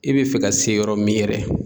I bi fɛ ka se yɔrɔ min yɛrɛ